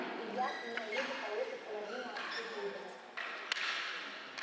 и я и мои люди получат половину от всей прибыли